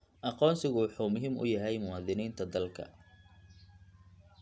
Aqoonsigu wuxuu muhiim u yahay muwaadiniinta dalka.